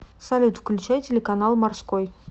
салют включай телеканал морской